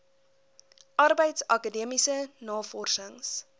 arbeids akademiese navorsings